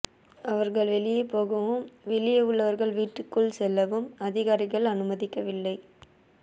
அவர்கள் வெளியே போகவும் வெளியே உள்ளவர்கள் வீட்டுக்குள் செல்லவும் அதிகாரிகள் அனுமதிக்கவில்லை